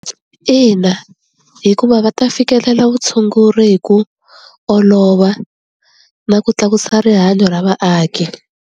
Ina hikuva va ta fikelela vutshunguri hi ku olova na ku tlakusa rihanyo ra vaaki.